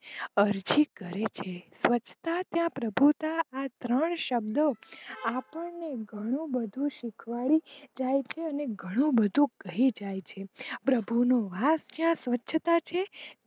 અરજી કરે છે સ્વછતા ત્યાં પ્રભુતા આ ત્રણ શબ્દો આપણને ઘણું બધું શીખવાડી જાય છે ઘણું બધું કહી જાય છે પ્રભુ નો વાસ જ્યાં સ્વચ્છતા છે.